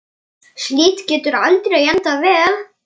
Hvað viltu fá að vita?